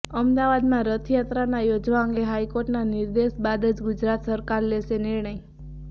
અમદાવાદમાં રથયાત્રાના યોજવા અંગે હાઇકોર્ટના નિર્દેશ બાદ જ ગુજરાત સરકાર લેશે નિર્ણય